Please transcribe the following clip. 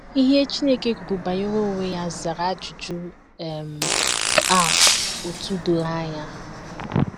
Ihe Chineke kwuru banyere onwe ya zara ajụjụ um a otú doro anya.